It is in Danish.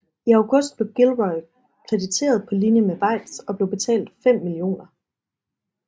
I august blev Gilroy krediteret på linje med Weitz og blev betalt 5 mio